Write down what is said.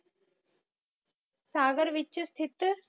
ਸਾਗਰ ਵਿਚ ਸਥਿਤ